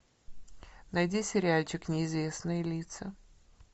найди сериальчик неизвестные лица